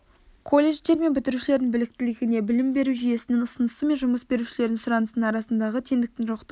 колледждер мен бітірушілерінің біліктілігіне білім беру жүйесінің ұсынысы мен жұмыс берушілердің сұранысының арасындағы теңдіктің жоқтығы